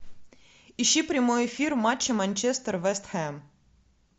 ищи прямой эфир матча манчестер вест хэм